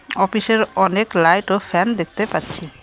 অফিসের অনেক লাইট ও ফ্যান দেখতে পাচ্ছি।